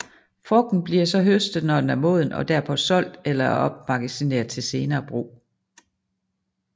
Frugten bliver så høstet når den er moden og derpå solgt eller opmagasineret til senere brug